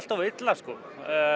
of illa sko